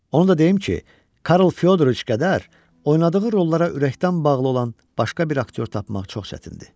Onu da deyim ki, Karl Fyodriç qədər oynadığı rollara ürəkdən bağlı olan başqa bir aktyor tapmaq çox çətindir.